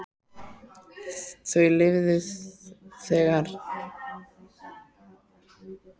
Þau lifðu það heldur ekki að hitta mig.